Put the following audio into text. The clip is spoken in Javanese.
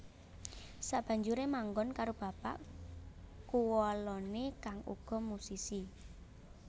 Sabanjuré manggon karo bapak kuwaloné kang uga musisi